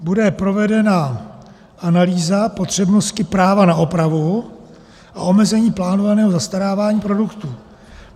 Bude provedena analýza potřebnosti práva na opravu a omezení plánovaného zastarávání produktů.